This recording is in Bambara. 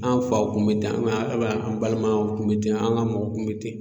An faw kun be ten o bɛn o bɛn an balimaw kun be ten an ga mɔgɔw kun be ten